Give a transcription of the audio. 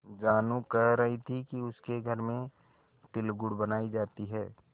जानू कह रही थी कि उसके घर में तिलगुड़ बनायी जाती है